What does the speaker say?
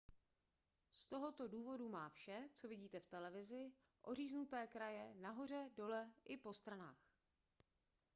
z tohoto důvodu má vše co vidíte v televizi oříznuté kraje nahoře dole i po stranách